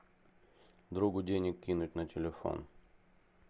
другу денег кинуть на телефон